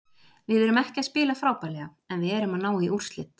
Við erum ekki að spila frábærlega en við erum að ná í úrslit.